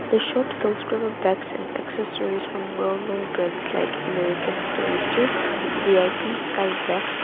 the shop bags and accessories from well known brands like american tourister V_I_P sky bags--